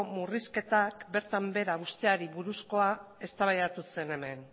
murrizketak bertan behera uzteari buruzkoa eztabaidatu zen hemen